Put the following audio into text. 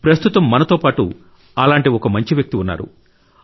ప్రస్తుతం మనతో పాటు అలాంటి ఒక మంచి వ్యక్తి ఉన్నారు